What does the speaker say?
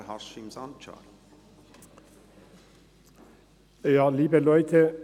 Der Motionär, Haşim Sancar, hat das Wort.